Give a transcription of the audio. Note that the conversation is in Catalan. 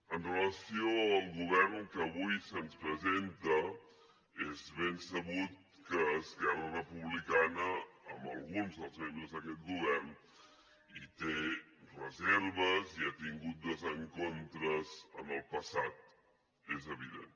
amb relació al govern que avui se’ns presenta és ben sabut que esquerra republicana amb alguns dels membres d’aquest govern hi té reserves i ha tingut desencontres en el passat és evident